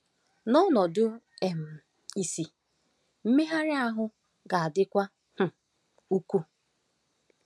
N’ọnọdụ um ìsì, mmegharị ahụ ga-adịkwu um ukwuu.